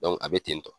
a bɛ ten tɔ